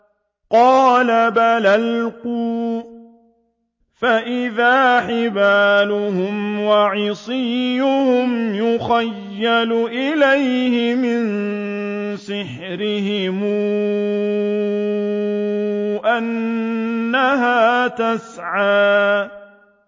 قَالَ بَلْ أَلْقُوا ۖ فَإِذَا حِبَالُهُمْ وَعِصِيُّهُمْ يُخَيَّلُ إِلَيْهِ مِن سِحْرِهِمْ أَنَّهَا تَسْعَىٰ